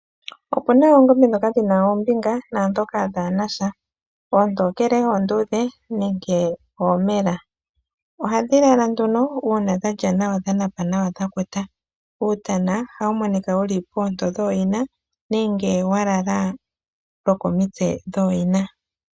Opuna oongombe dhoka dhina oombinga naadhoka dhaanasha, oontokele, oondudhe nenge oomela. Oha dhi lala nduno uuna dha lya nawa, dha napa nawa dhakuta. Uutana oha wu monika wu li poonto dhoyina nenge wa lala lokomitse dhooyina.